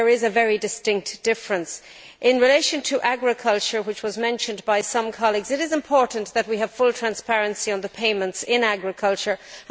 There is a very distinct difference. In relation to agriculture, which was mentioned by some colleagues, it is important that we have full transparency on payments in the agricultural sector.